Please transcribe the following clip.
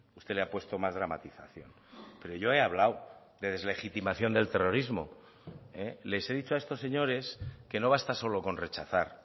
usted le ha puesto más dramatización pero yo he hablado de deslegitimación del terrorismo les he dicho a estos señores que no basta solo con rechazar